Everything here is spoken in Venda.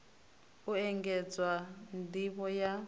u engedzwa nd ivho ya